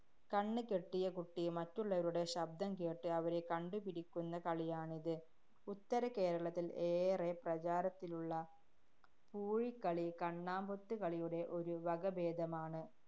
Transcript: കണ്ണ് കെട്ടിയ കുട്ടി മറ്റുള്ളവരുടെ ശബ്ദം കേട്ട് അവരെ കണ്ടുപിടിക്കുന്ന കളിയാണിത്. ഉത്തര കേരളത്തില്‍ ഏറെ പ്രചാരത്തിലുള്ള പൂഴികളി കണ്ണാമ്പൊത്ത് കളിയുടെ ഒരു വകഭേദമാണ്.